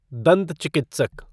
दंत चिकित्सक